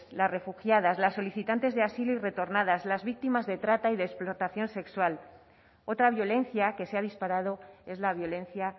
las refugiadas las solicitantes de asilo y retornadas las víctimas de trata y de explotación sexual otra violencia que se ha disparado es la violencia